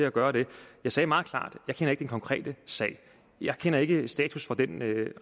at gøre det jeg sagde meget klart at jeg ikke konkrete sag jeg kender ikke status for den